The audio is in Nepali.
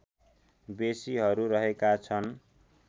बेसीहरू रहेका छन्